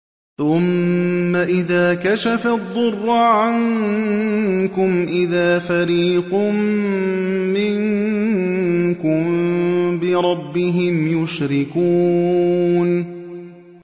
ثُمَّ إِذَا كَشَفَ الضُّرَّ عَنكُمْ إِذَا فَرِيقٌ مِّنكُم بِرَبِّهِمْ يُشْرِكُونَ